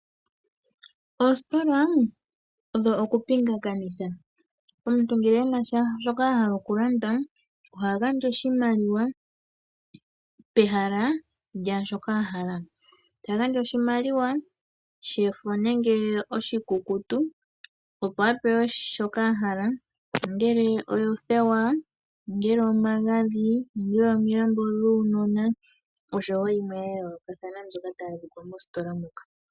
Oositola odho oku pingakanitha omuntu ngele ena shoka ahala okulanda oha gandja oshimaliwa pehala lyaashika ahala. Ta gandja oshimaliwa oshikukutu nenge shefo tapewa shoka ahala ongele oothewa, omagadhi, omilambo dhuunona nakehe shoka hashi landithwa mositola moka.